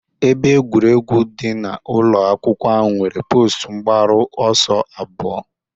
Ebe egwuregwu dị n'ụlọ akwụkwọ ahụ nwere post mgbaru ọsọ abụọ